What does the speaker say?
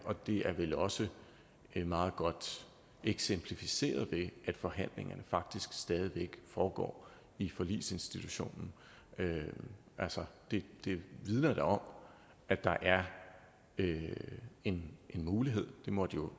det er vel også meget godt eksemplificeret ved at forhandlingerne faktisk stadig væk foregår i forligsinstitutionen altså det vidner da om at der er en mulighed det må jo